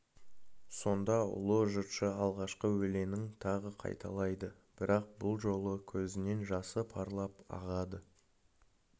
сонда ұлы жыршы алғашқы өлеңін тағы қайталайды бірақ бұл жолы көзінен жасы парлап ағады